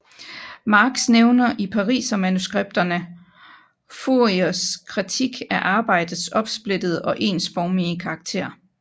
Marx nævner i Parisermanuskripterne Fouriers kritik af arbejdets opsplittede og ensformige karakter